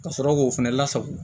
Ka sɔrɔ k'o fɛnɛ lasago